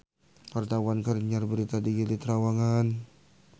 Wartawan keur nyiar berita di Gili Trawangan